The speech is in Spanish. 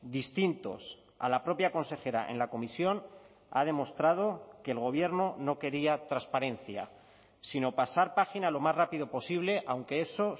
distintos a la propia consejera en la comisión ha demostrado que el gobierno no quería transparencia sino pasar página lo más rápido posible aunque eso